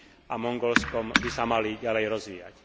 a Mongolskom by sa mali ďalej rozvíjať.